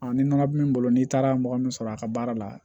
ni nɔnɔmin bolo n'i taara mɔgɔ min sɔrɔ a ka baara la